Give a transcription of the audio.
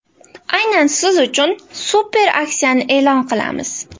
Aynan siz uchun super aksiyani e’lon qilamiz.